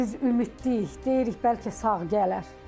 Hələ biz ümidliyik, deyirik bəlkə sağ gələr.